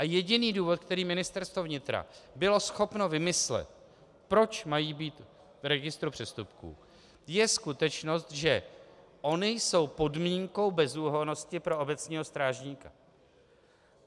A jediný důvod, který Ministerstvo vnitra bylo schopno vymyslet, proč mají být v registru přestupků, je skutečnost, že ony jsou podmínkou bezúhonnosti pro obecního strážníka.